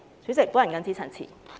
主席，我謹此陳辭。